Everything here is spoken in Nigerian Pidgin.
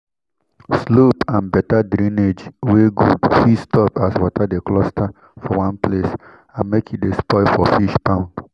slope and better drainage wey good fit stop as water de cluster for one place and make e de spoil for fish pond